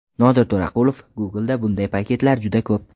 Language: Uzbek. Nodir To‘raqulov: Google’da bunday paketlar juda ko‘p.